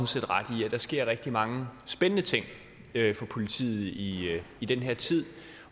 set ret i at der sker rigtig mange spændende ting for politiet i i den her tid